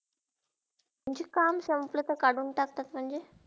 म्हणजे काम संपलेते काडून टाकतात म्हणजे.